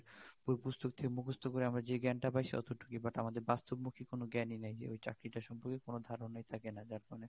বই পুস্তক থেকে মুখস্ত করে যে জ্ঞান টা পায় অতটুকু but আমাদের বাস্তব মুখি জ্ঞান ই নেয় ওই চাকরি টা সম্পর্কে কোন ধারনা ই থাকে না যার কারনে